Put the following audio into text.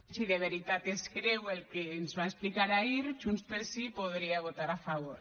si de veritat es creu el que ens va explicar ahir junts pel sí podria votar a favor